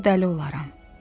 Yoxsa dəli olaram.